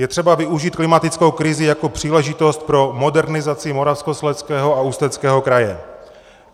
Je třeba využít klimatickou krizi jako příležitost pro modernizaci Moravskoslezského a Ústeckého kraje.